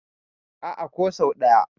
A'a, ko sau ɗaya.